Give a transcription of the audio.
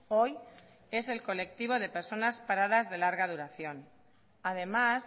hoy es el colectivo de personas paradas de larga duración además